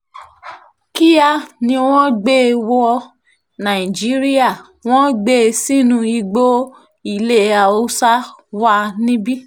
kíá ni wọ́n sì gbé e wọ nàìjíríà wọ́n gbé e sínú igbó ilé haúsá wa níbí